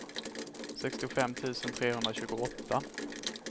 sextiofem tusen trehundratjugoåtta